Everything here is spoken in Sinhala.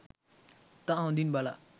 ඉතා හොඳින් බලා